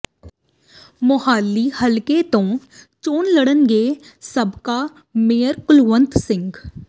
ਮੋਹਾਲੀ ਹਲਕੇ ਤੋਂ ਚੋਣ ਲੜਨਗੇ ਸਾਬਕਾ ਮੇਅਰ ਕੁਲਵੰਤ ਸਿੰਘ